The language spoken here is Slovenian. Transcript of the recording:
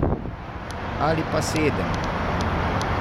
Ali pa sedem?